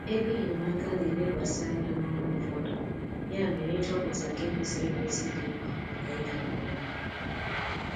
Ego enyemaka na-elekwasị anya n’ọrụ ụfọdụ, ya mere ịchọpụta nke kwesịrị ekwesị dị mkpa maka ịga nke ọma.